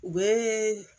U bɛ